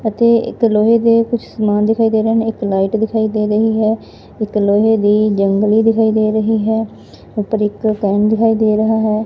ਅਤੇ ਇਕ ਲੋਹੇ ਦੇ ਕੁਝ ਸਮਾਨ ਦਿਖਾਈ ਦੇ ਰਹੇ ਨੇ ਇੱਕ ਲਾਈਟ ਦਿਖਾਈ ਦੇ ਰਹੀ ਹੈ ਇੱਕ ਲੋਹੇ ਦੀ ਜੰਗਲੀ ਦਿਖਾਈ ਦੇ ਰਹੀ ਹੈ ਉੱਪਰ ਇੱਕ ਦਿਖਾਈ ਦੇ ਰਹਾ ਹੈ।